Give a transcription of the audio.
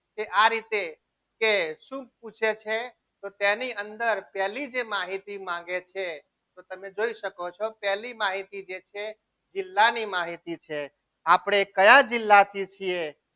કે આ રીતે કે શું પૂછે છે તેની અંદર પહેલી જે માહિતી માંગે છે તો તમે જોઈ શકો છો પહેલી માહિતી જે છે જિલ્લા ની માહિતી છે આપણે કયા જિલ્લા થી છીએ.